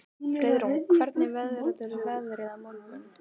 Friðrún, hvernig verður veðrið á morgun?